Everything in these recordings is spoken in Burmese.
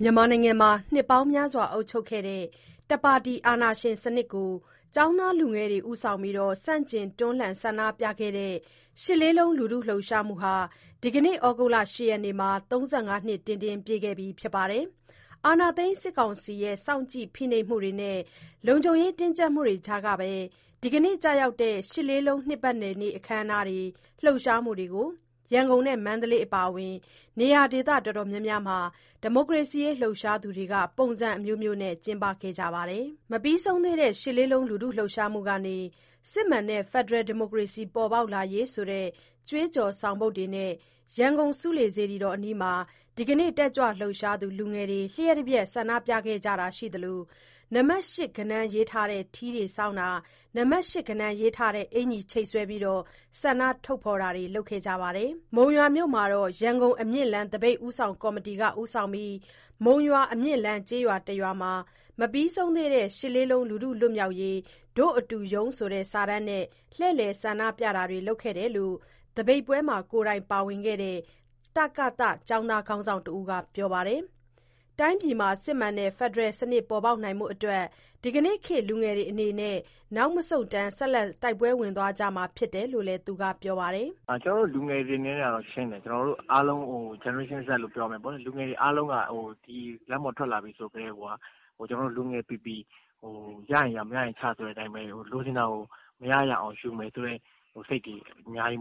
မြန်မာနိုင်ငံမှာ နှစ်ပေါင်းများစွာ အုပ်ချုပ်ခဲ့တဲ့ တပါတီ အာဏာရှင်စနစ်ကို ကျောင်းသားလူငယ်တွေ ဦးဆောင်ပြီး ဆန့်ကျင်တွန်းလှန်ဆန္ဒပြခဲ့တဲ့ ရှစ်လေးလုံး လူထုလှုပ်ရှားမှုဟာ ဒီကနေ့ သြဂုတ်လ ၈ ရက်နေ့မှာ ၃၅ နှစ် ပြည့်ခဲ့ပါပြီ။ အာဏာသိမ်း စစ်ကောင်စီရဲ့ စောင့်ကြည့် ဖိနှိပ်မှုတွေနဲ့ လုံခြုံရေးတင်းကျပ်မှုတွေကြားကပဲ ဒီကနေ့ ကျရောက်တဲ့ ရှစ်လေးလုံး နှစ်ပတ်လည်နေ့ အခမ်းအနားတွေ၊ လှုပ်ရှားမှုတွေကို ရန်ကုန် နဲ့ မန္တလေး အပါအ၀င် နေရာဒေသ အတော်များများမှာ ဒီမိုကရေစီရေး လှုပ်ရှားသူတွေက ပုံစံ အမျိုးမျိုးနဲ့ ကျင်းပခဲ့ကြပါတယ်။ မပြီးဆုံးသေးတဲ့ ၈ လေးလုံး လူထုလှုပ်ရှားမှုကနေ စစ်မှန်တဲ့ ဖက်ဒရယ် ဒီမိုကရေစီ ပေါ်ပေါက်လာရေး ဆိုတဲ့ ကြွေးကြော် ဆောင်ပုဒ်တွေနဲ့ ရန်ကုန် ဆူးလေနားမှာ ဒီကနေ့ တက်ကြွလှုပ်ရှားသူ လူငယ်တွေ လျှပ်တပြက် ဆန္ဒပြခဲ့ကြတာ ရှိသလို၊ နံပါတ် ၈ ဂဏန်း ရေးထားတဲ့ ထီးဆောင်းတာ၊ နံပါတ် ၈ ဂဏန်း ရေးထားတဲ့ အင်္ကျီချိတ်ဆွဲပြီး ဆန္ဒထုတ်ဖော်တာတွေကို လုပ်ခဲ့ကြပါတယ်။ မုံရွာမြို့မှာတော့ ရန်ကုန် အမြင့်လမ်း သပိတ်ဦးဆောင်ကော်မတီ ဦးဆောင်ပြီးတော့ မုံရွာ အမြင့်လမ်းကျေးရွာတရွာမှာ “မပြီးဆုံးသေးတဲ့ ၈၈၈၈ လူထုလွတ်မြောက်ရေး ဒို့အတူရုန်း” ဆိုတဲ့ စာတမ်းနဲ့ လှည့်လည် ဆန္ဒပြတာတွေ လုပ်ခဲ့တယ်လို့ သပိတ်ပွဲမှာ ကိုယ်တိုင် ပါဝင်ခဲ့တဲ့ တကသ ကျောင်းသား ခေါင်းဆောင်တဦးက ပြောပါတယ်။ တိုင်းပြည်မှာ စစ်မှန်တဲ့ ဖက်ဒရယ်စနစ် ပေါ်ပေါက်နိုင်ဖို့အတွက် ဒီကနေ့ခေတ် လူငယ်တွေ အနေနဲ့ နောက်မဆုတ်တမ်း ဆက်လက် တိုက်ပွဲဝင်သွားမှာ ဖြစ်တယ်လို့လည်း သူက ပြောပါတယ်။ "ကျနော်တို့ လူငယ်တွေက ရှင်းတယ်။ ပြောကြတယ် GZ လို့ ပြောမယ်ပေါ့။ လူငယ်တွေ အားလုံးက လမ်းပေါ် ထွက်လာတယ် ဆိုကတည်းကိုက လူငယ်ပီပီ ရရင်ရ မရရင်ချဆိုတဲ့ အတိုင်းပဲ။ လူငယ်ပီပီ မရရအောင် လုပ်မယ်ဆိုတဲ့ စိတ်တွေ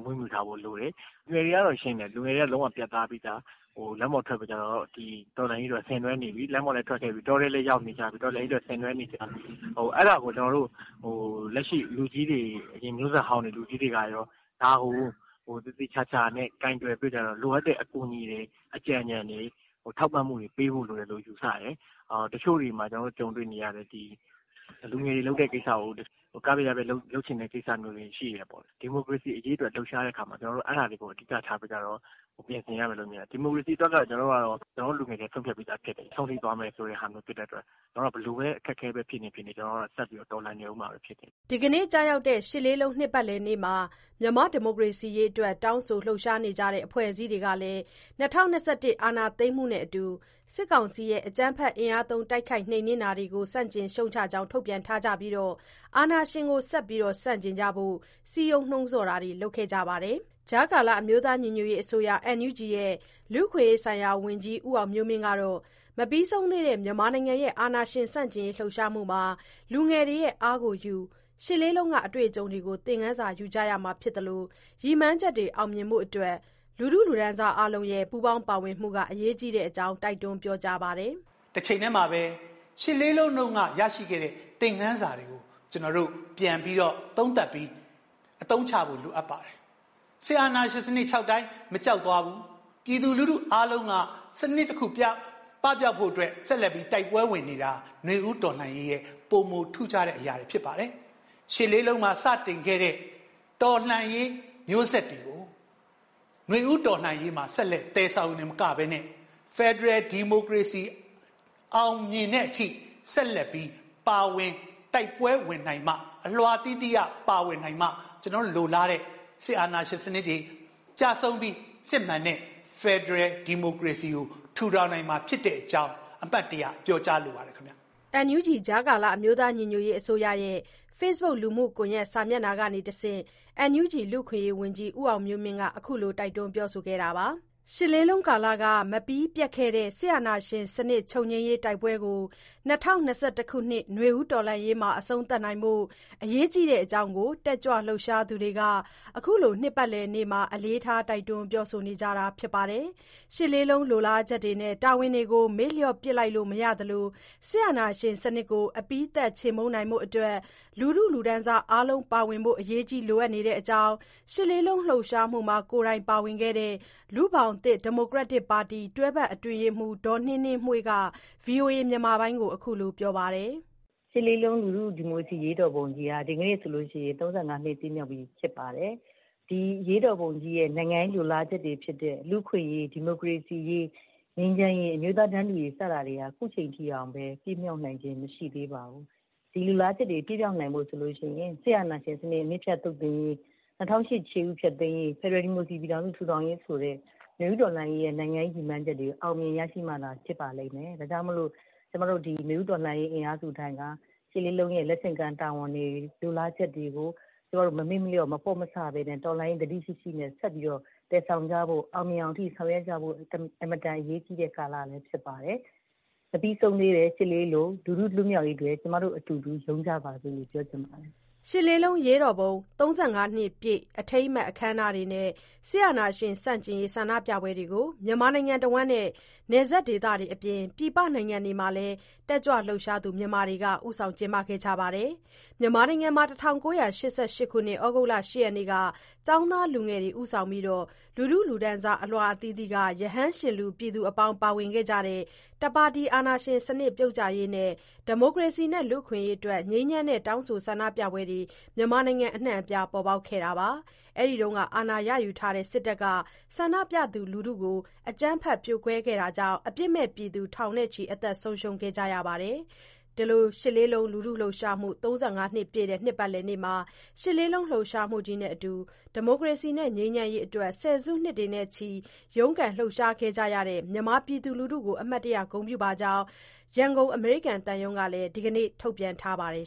မွေးထားဖို့ လိုတယ်။ လူငယ်တွေကတော့ ရှင်းတယ်။ ပြတ်သားပြီးသား။ လမ်းပေါ်ထွက် တော်လှန်ရေး ဆင်နွဲနေပြီ လမ်းပေါ်လည်း ထွက်ခဲ့ပြီ။ တောထဲလည်း ရောက်ပြီး တော်လှန်ရေး အတွက် ဆင်နွဲနေကြပြီ။ အဲဒါကို လက်ရှိလူကြီးတွေ အရင် မျိုးဆက်ဟောင်းလူကြီးတွေက သေချာကိုင်တွယ်ပြီး လိုအပ်တဲ့ အကူအညီတွေ အကြံညဏ်တွေ ထောက်ပံ့မှုတွေ ပေးဖို့ ယူဆတယ်။ တချို့ တွေမှာ လူငယ်တွေလုပ်တဲ့ ကိစ္စကို က ဖျက် ရ ဖျက် လုပ်တဲ့ ကိစ္စတွေ ရှိတယ်။ ဒီမိူကရေစီ အရေးလှုပ်ရှားတဲ့အခါမှာ အဲဒါတွေကိုအဓိကထား ပြင်ဆင်ရမယ်ထင်တယ်။ ဒီမိုကရေစီ အတွက်ကတော့ ကျနော်တို့ လူငယ်တွေ ဆုံးဖြတ်ပြီးသား ဖြစ်တယ်။ အဆုံးထိ သွားမှာဖြစ်တဲ့အတွက် ဘယ်လို အခက်အခဲ ဖြစ်ဖြစ် ကျနော်တို့ တော်လှန်နေမှာ ဖြစ်တယ်။" ဒီကနေ့ ကျရောက်တဲ့ ရှစ်လေးလုံး နှစ်ပတ်လည်နေ့မှာ မြန်မာ့ ဒီမိုကရေစီရေးအတွက် တောင်းဆို လှုပ်ရှားနေကြတဲ့ အဖွဲ့အစည်းတွေ ကလည်း ၂၀၂၁ အာဏာသိမ်းမှုနဲ့အတူ စစ်ကောင်စီရဲ့ အကြမ်းဖက် အင်အားသုံး တိုက်ခိုက်နှိမ်နင်းနေတာတွေကို ဆန့်ကျင် ရှုတ်ချကြောင်း ထုတ်ပြန်ထားကြပြီး အာဏာရှင်ကို ဆက်လက် ဆန့်ကျင်ကြဖို့ စည်းရုံး နှိုးဆော်ခဲ့ကြပါတယ်။ ကြားကာလ အမျိုးသားညီညွတ်ရေး အစိုးရ NUG ရဲ့ လူ့အခွင့်အရေးဆိုင်ရာဝန်ကြီး ဦးအောင်မျိုးမင်း ကတော့ မပြီးသေးတဲ့ မြန်မာနိုင်ငံရဲ့ အာဏာရှင်ဆန့်ကျင်ရေး လှုပ်ရှားမှုမှာ လူငယ်တွေရဲ့ အားကိုယူပြီး ရှစ်လေးလုံးက အတွေ့အကြုံတွေကို သင်ခန်းစာယူကြရမှာ ဖြစ်သလို၊ ရည်မှန်းချက်တွေ အောင်မြင်ဖို့အတွက် လူထုအားလုံးရဲ့ ပူးပေါင်း ပါဝင်မှုက အရေးကြီးတဲ့အကြောင်း တိုက်တွန်း ပြောကြားပါတယ်။ "တချိန်တည်းမှာပဲ ရှစ်လေးလုံး တုန်းက ရခဲ့တဲ့ သင်ခန်းစာတွေကို ပြန်သုံးသပ်ပြီး အသုံးချဖို့ လိုအပ်ပါတယ်။ စစ်အာဏာရှင်တွေ ခြောက်တိုင်း မကြောက်သွားဘူး။ ပြည်သူအားလုံးက စနစ်တခု ပပျောက်ဖို့အတွက် ဆက်လက် တိုက်ပွဲဝင်နေတာ၊ နွေဦး တော်လှန်ရေးအတွက် ပိုထူးခြားတဲ့ အရာတွေ ဖြစ်ပါတယ်။ ရှစ်လေးလုံးမှာ စတင်ခဲ့တဲ့ တော်လှန်ရေး မျိုးဆက်တွေကို နွေဦးတော်လှန်ရေးမှာ ဆက်လက် သယ်ဆောင်တာ တင်မကဘဲနဲ့ ဖက်ဒရယ်ဒီမိုကရေစီ အောင်မြင်တဲ့အထိ ဆက်လက်ပြီး ပါဝင် တိုက်ပွဲဝင်နိုင်မှ၊ အလွှာအသီးသီးက တိုက်ပွဲဝင်နိုင်မှ ကျနော်တို့ လိုလားတဲ့ စစ်အာဏာရှင်စနစ်တွေ ကျဆုံးပြီး စစ်မှန်တဲ့ ဖက်ဒရယ်ဒီမိုက ရေစီစနစ်ကို ထူထောင်နိုင်မှာဖြစ်တဲ့ အကြောင်း အမှတ်တရ ပြောကြားလိုပါတယ်။" NUG ရဲ့ ဖေ့စ်ဘွတ် လူမှုကွန်ရက် စာမျက်နှာ ကနေတဆင့် NUG လူ့အခွင့်အရေး ဝန်ကြီး ဦးအောင်မျိုးမင်း ခုလို တိုက်တွန်း ပြောဆိုထားတာပါ။ ရှစ်လေးလုံးကာလက မပြီးပြတ်ခဲ့တဲ့ စစ်အာဏာရှင်စနစ်ချုပ်ငြိမ်းရေး တိုက်ပွဲကို ၂ဝ၂၁ ခုနှစ် နွေဦးတော်လှန်ရေးမှာ အဆုံးသတ်နိုင်ဖို့ အရေးကြီးတဲ့အကြောင်းကို တက်ကြွလှုပ်ရှားသူတွေက ခုလို နှစ်ပတ်လည်နေ့မှာ အလေးထား တိုက်တွန်းပြောဆိုနေကြတာ ဖြစ်ပါတယ်။ ရှစ်လေးလုံး လိုလားချက်တွေနဲ့ တာဝန်တွေကို မေ့လျော့ပစ်လိုက်လို့ မရသလို၊ စစ်အာဏာရှင်ကို အပြီးသတ် ချေမှုန်းနိုင်ဖို့အတွက် လူထုအားလုံး ပါဝင်ဖို့ အရေးကြီး လိုအပ်နေတဲ့အကြောင်း ရှစ်လေးလုံး လှုပ်ရှားမှုမှာ ကိုယ်တိုင်ပါဝင်ခဲ့တဲ့ လူ့ဘောင်သစ်ဒီမိုကရက်တစ်ပါတီ တွဲဖက်အတွင်းရေးမှူး ဒေါ်နှင်းနှင်းမွှေးက ဗွီအိုအေကို ပြောပါတယ်။ "၈၈၈၈ လူထုဒီမိုကရေစီလှုပ်ရှားမှုက ဒီကနေ့ဆို ၃၅ နှစ်ပြည့်ပြီ ဖြစ်ပါတယ်။ ဒီအရေးတော်ပုံကြီးရဲ့ နိုင်ငံရေးလိုလားချက်တွေဖြစ်တဲ့ လူ့အခွင့်အရေး၊ ဒီမိုကရေစီရေး၊ ငြိမ်းချမ်းရေးနဲ့ အမျိုးသား တန်းတူရေး စတာတွေဟာ ခုချိန်ထိတောင်ပြည့်မြောက်နိုင်တာ မရှိသေးပါဘူး။ ဒါတွေပြည့်မြောက်ဖို့ဆိုရင် စစ်အာဏာရှင်စနစ် အမြစ်ဖြတ်သုတ်သင်ရေး၊ ၂၀၀၈ ခြေဥဖျက်သိမ်းရေးနဲ့ ဖက်ဒရယ် ဒီမိုကရေစီထူထောင်ရေးဆိုတဲ့ နွေဦးတော်လှန်ရေးရဲ့ ရည်မှန်းချက်တွေ အောင်မြင်မှသာ ဖြစ်ပါလိမ့်မယ်။ ဒါကြောင့်မို့ နွေဦး တော်လှန်ရေး အင်အားစုတိုင်းက ၈၈၈၈ ရဲ့ တာဝန်တွေ လိုလားချက်တွေကို မမေ့မလျော့ မပေါ့မဆဘဲ တော်လှန်ရေး သတိရှိရှိနဲ့ ဆက်ပြီးတော့ အောင်မြင်အောင် ဆောင်ရွက်ကြဖို့ အင်မတန် အရေးကြီးတဲ့ ကာလလည်း ဖြစ်ပါတယ်။ မပြီးသေးတဲ့ ၈၈၈၈ လူထုလွတ်မြောက်ရေးအတွက် ကျမတို့ အတူတူ ရုန်းကြပါစို့လို့ ပြောချင်ပါတယ်။" ရှစ်လေးလုံး အရေးတော်ပုံ ၃၅ နှစ်ပြည့် အထိမ်းအမှတ် အခမ်းအနားတွေနဲ့ စစ်အာဏာရှင်ဆန့်ကျင် ရေး ဆန္ဒပြပွဲတွေကို မြန်မာနိုင်ငံတွင်းနဲ့ နယ်စပ်ဒေသတွေအပြင် ပြည်ပနိုင်ငံတွေမှာလည်း တက်ကြွလှုပ်ရှားသူ မြန်မာတွေက ကျင်းပခဲ့ကြပါတယ်။ မြန်မာနိုင်ငံမှာ ၁၉၈၈ ခုနှစ်၊ သြဂုတ်လ ၈ ရက်နေ့က ကျောင်းသားလူငယ်တွေ ဦးဆောင်ပြီး လူတန်းစား အလွှာအသီးသီးက ရဟန်းရှင်လူ ပြည်သူအများ ပါဝင်ခဲ့ကြတဲ့ တပါတီအာဏာရှင်စနစ် ပြုတ်ကျရေးနဲ့ ၊ ဒီမိုကရေနဲ့ လူ့အခွင့်အရေးအတွက် ငြိမ်းချမ်းတဲ့ တောင်းဆို ဆန္ဒပြပွဲတွေ မြန်မာနိုင်ငံအနှံ့ ပေါ်ပေါက်ခဲ့တာပါ။ အဲဒီအချိန်က အာဏာယူထားတဲ့ စစ်တပ်က ဆန္ဒပြသူတွေကို အကြမ်းဖက် ဖြိုခွဲခဲ့တာကြောင့် အပြစ်မဲ့ ပြည်သူ ထောင်နဲ့ချီ အသက်ဆုံးရှုံး ခဲ့ကြရပါတယ်။ ရှစ်လေးလုံးလူထုလှုပ်ရှားမှု ၃၅ နှစ်ပြည့်တဲ့ နှစ်ပတ်လည်နေ့မှာ ရှစ်လေးလုံး လှုပ်ရှားမှုကြီးနဲ့အတူ ဒီမိုကရေစီနဲ့ ငြိမ်းချမ်းရေးအတွက် ဆယ်စုနှစ်ချီ ရုန်းကန် လှုပ်ရှားခဲ့ကြတဲ့ မြန်မာပြည်သူလူထုကို အမှတ်ရ ဂုဏ်ပြုပါကြောင်း ရန်ကုန် အမေရိကန်သံရုံးကလည်း ဒီကနေ့ ထုတ်ပြန်ထားပါတယ်